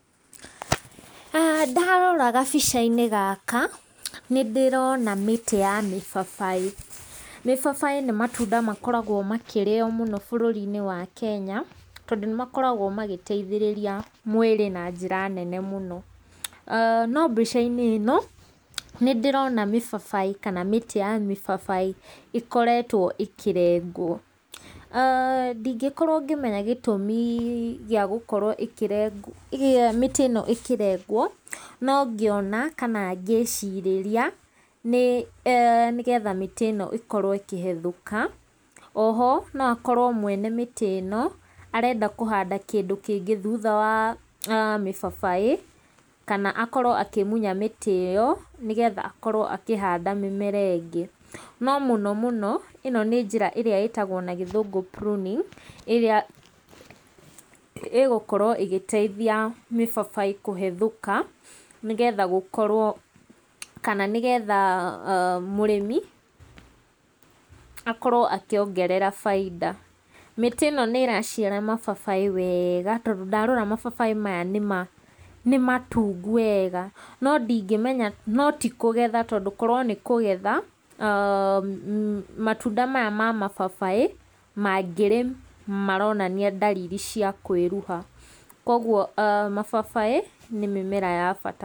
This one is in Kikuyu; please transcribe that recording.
Ndarora gabica-inĩ gaka nĩ ndĩrona mĩtĩ ya mĩbabaĩ. Mĩbabaĩ nĩ matunda makoragwo makĩrĩo mũno bũrũri-inĩ wa Kenya, tondũ nĩ makoragwo magĩteithĩrĩria mwĩrĩ na njĩra nene mũno. No mbica-inĩ ĩno nĩ ndĩrona mĩbabaĩ kana mĩtĩ ya mĩbabaĩ ĩkoretwo ikĩrengwo. aah Ndingĩkorwo ngĩmenya gĩtũmi gĩa gũkorwo mĩtĩ ĩno ĩkĩrengwo, no ngĩona kana ngĩcirĩria, nĩ nĩgetha mĩtĩ ĩno ĩkorwo ĩkĩhethũka. O ho no akorwo mwene mĩtĩ ĩno arenda kũhanda kĩndũ kĩngĩ thutha wa mĩbabaĩ, kana akorwo akĩmunya mĩtĩ ĩno, nĩgetha akorwo akĩhanda mĩmera ĩngĩ. No mũno mũno ĩno nĩ njĩra ĩrĩa ĩtagwo na gĩthũngũ pruning ĩrĩa ĩgũkorwo ĩgĩteithia mĩbabaĩ kũhethũka, nĩgetha gũkorwo kana nĩgetha mũrĩmi akorwo akĩongerera bainda. Mĩtĩ ĩno nĩ ĩraciara mababaĩ wega, tondũ ndarora mababaĩ maya nĩ matungu wega. No ndingĩmenya no ti kũgetha, tondũ korwo nĩ kũgetha, matunda maya ma mababaĩ mangĩrĩ maronania dalili cia kwĩruha. Koguo mababaĩ nĩ mĩmera ya bata.